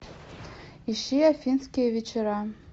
ищи афинские вечера